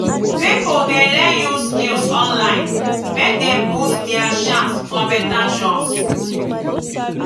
pipo dey learn new skills online make dem boost dia chance for beta jobs.